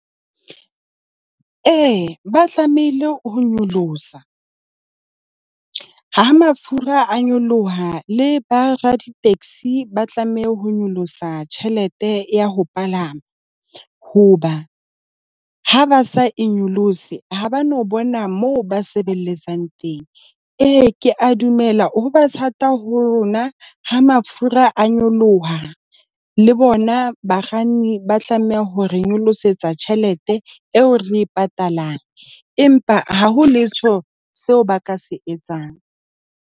E, ba tlamehile ho nyolosa. Ha mafura a nyoloha le ba raditaxi , ba tlameha ho nyolosa tjhelete ya ho palama hoba ha ba sa e nyolose ha ba no bona moo ba sebeletsang teng. E, ke a dumela ho ba thata ho rona ha mafura a nyoloha le bona bakganni ba tlameha hore re nyolosetsa tjhelete eo re e patalang, empa ha ho letho seo ba ka se etsang.